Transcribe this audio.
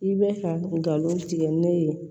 I bɛ ka galon tigɛ ne ye